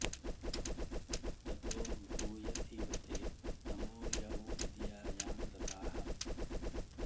ततो भूय इव ते तमो य उ विद्यायाँ रताः